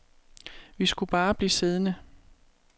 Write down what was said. Vi skulle bare blive siddende.